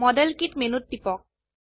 model kit মেনুত টিপক